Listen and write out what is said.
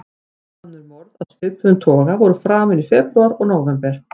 Tvö önnur morð af svipuðum toga voru framin í febrúar og nóvember.